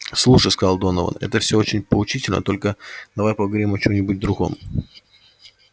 слушай сказал донован это всё очень поучительно только давай поговорим о чём-нибудь другом